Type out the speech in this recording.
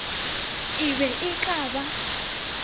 e be e ka ba